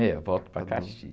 É, eu volto para Caxias.